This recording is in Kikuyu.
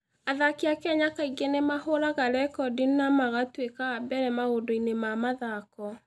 Athaki a Kenya kaingĩ nĩ mahũraga rekondi na magatuĩka a mbere maũndũ-inĩ ma mathaako.